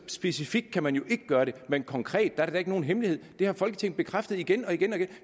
specifikt kan man jo ikke gøre det men konkret er det da ikke nogen hemmelighed det har folketinget bekræftet igen og igen